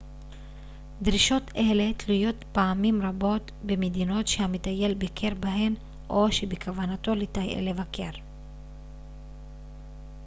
דרישות אלה תלויות פעמים רבות במדינות שהמטייל ביקר בהן או שבכוונתו לבקר